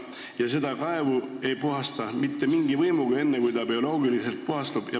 Ja seda kaevu ei puhasta mitte mingi võimuga enne, kui see bioloogiliselt ise puhastub.